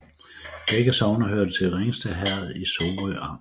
Begge sogne hørte til Ringsted Herred i Sorø Amt